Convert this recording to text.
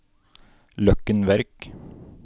Løkken Verk